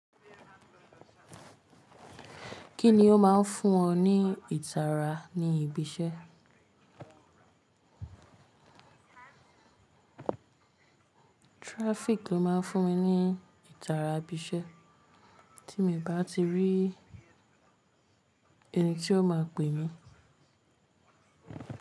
Kí ni o máa ń fún ọ ní ìtara ní ibi iṣẹ́? Traffic ló máa ń fún mi ní ìtara ibi iṣẹ́ tí èmi bá ti rí ẹni tí ó máa pè mí.